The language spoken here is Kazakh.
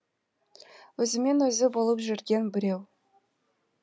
өзімен өзі болып жүрген біреу